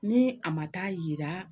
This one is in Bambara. Ni a ma taa yira